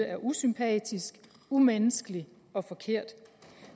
er usympatisk umenneskelig og forkert